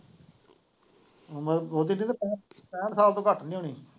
ਉਮਰ ਓਦੀ ਤਾਂ ਪੈਂਹਠ, ਪੈਂਹਠ ਸਾਲ ਤੋਂ ਘੱਟ ਨੀ ਹੋਣੀ।